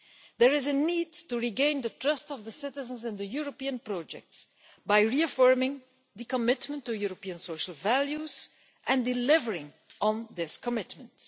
There is a need to regain the trust of citizens in the European project by reaffirming the commitment to European social values and delivering on this commitment.